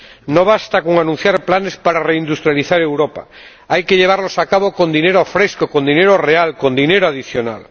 No basta con anunciar planes para reindustrializar Europa hay que llevarlos a cabo con dinero fresco, con dinero real, con dinero adicional.